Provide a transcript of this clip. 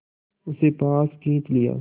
उसे पास खींच लिया